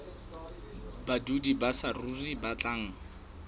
badudi ba saruri ba batlang